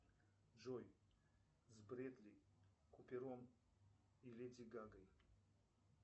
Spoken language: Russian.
джой с брэдли купером и леди гагой